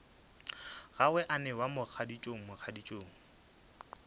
gagwe a newa mogaditšong mogaditšong